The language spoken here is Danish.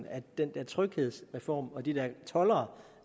at den der tryghedsreform og de der toldere